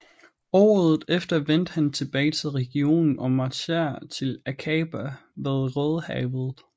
Året efter vendte han tilbage til regionen og marcherede til Akaba ved Rødehavet